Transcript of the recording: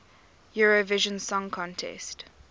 eurovision song contest